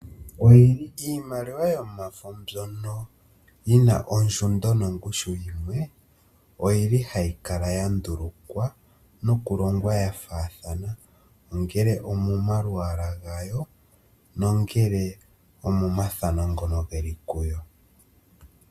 Iimaliwa yomafo mbyono yina ondjundo nongushu yimwe, oyili hayi kala ya ndulukwa nokulongwa ya faathana. Ongele omo malwaala gaya, nongele omo mathano ngono geli kuyo.